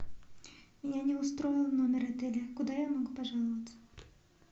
меня не устроил номер отеля куда я могу пожаловаться